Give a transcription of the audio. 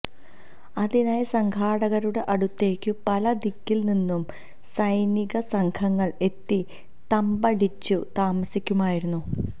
അതിനായി സംഘാടകരുടെ അടുത്തേക്കു പല ദിക്കിൽനിന്നും സൈനികസംഘങ്ങൾ എത്തി തമ്പടിച്ചു താമസിക്കുമായിരുന്നു